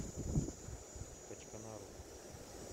качканару